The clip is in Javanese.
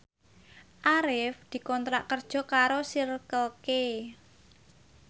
Arif dikontrak kerja karo Circle K